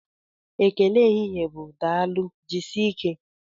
Ekele ehihie bụ Daalụ, jisike